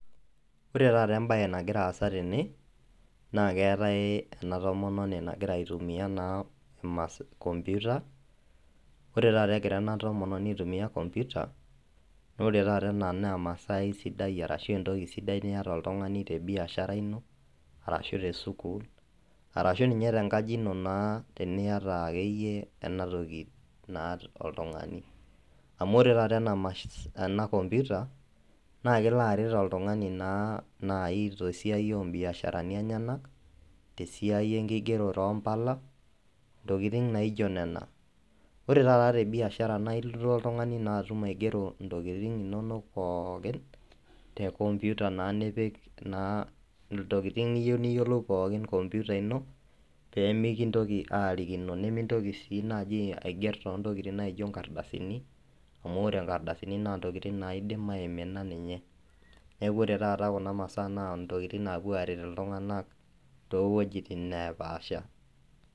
ore taata ebaye nagira asa tene naa keetae ena tomononi nagira aitumiya compuita ore taata egira ena tomononi aitumiya kompuita, ore taata ena naa emasai ashu entoki sidai niyata oltung'ani tebiashara ino , arashu tesukul ,arashu ninye tengaji ino tiniyata akeyie enatoki naa oltung'ani, amu ore taata ena mashini amu ore taata ena kompuita naa kelo aret oltung'ani tesiai oo ibisharani enyenak tesiai enkigerore oo impala intokitin naijio nena, ore taata tebiashara naa ilo oltung'ani aitum aigero intokitin enyanak pooki te kompuita nipik naa intokitin niyieu pooki kompuita ino pee mikirikino, nimintoki sii aiger intokitun naijio inkardasini , amu ore inkardasini naa intokitin naidim aimina neeku ore taata kuna masaa naa intokitin naidim ateret iltung'anak.